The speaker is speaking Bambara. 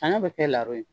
Sanɲɔ bɛ kɛ laro ye